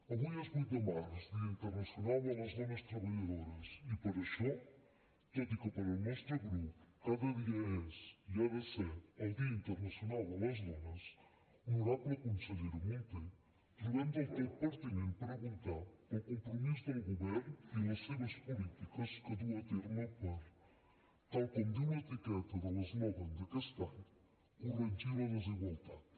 avui és vuit de març dia internacional de les dones treballadores i per això tot i que pel nostre grup cada dia és i ha de ser el dia internacional de les dones honorable consellera munté trobem del tot pertinent preguntar pel compromís del govern i les seves polítiques que duu a terme per tal com diu l’etiqueta de l’eslògan d’aquest any corregir les desigualtats